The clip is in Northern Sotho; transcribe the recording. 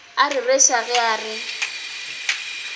a rereša ge o re